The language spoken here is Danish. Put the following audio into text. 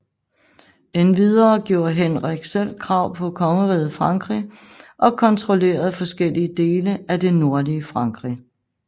Endvidere gjorde Henrik selv krav på Kongeriget Frankrig og kontrollerede forskellige dele af det nordlige Frankrig